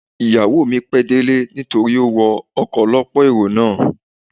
Ìyàwó mi pẹ́ délé nítorí ó wọ ọkọ̀ ọ lọ́pọ̀ èrò náà.